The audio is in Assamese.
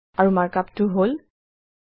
আৰু markup টো হল 2